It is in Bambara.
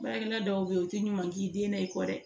Baarakɛla dɔw bɛ yen u tɛ ɲuman k'i den na i kɔ dɛ